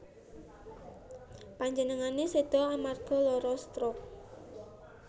Panjenengane seda amarga lara stroke